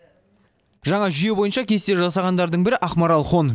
жаңа жүйе бойынша кесте жасағандардың бірі ақмарал хон